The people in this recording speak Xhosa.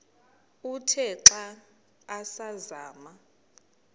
uthe xa asazama